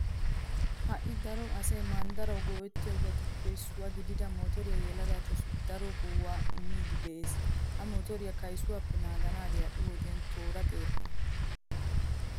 Ha"i daro asay manddarawu go"ettiyobatuppe issuwa gidida motoree yelagatussi daro go"aa immiiddi de'ees. Ha motoriya kaysuwappe naaganaagee ha"i wodiyan toora xeera.